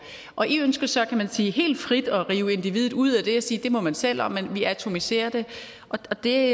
og i ønsker så kan man sige helt frit at rive individet ud af det og sige det må man selv om men vi atomiserer det og det